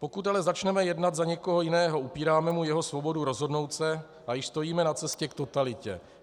Pokud ale začneme jednat za někoho jiného, ubíráme mu jeho svobodu rozhodnout se a již stojíme na cestě k totalitě.